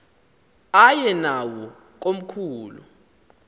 aye nawo komkhulu